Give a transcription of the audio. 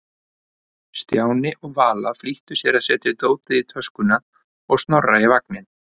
Stjáni og Vala flýttu sér að setja dótið í töskuna og Snorra í vagninn.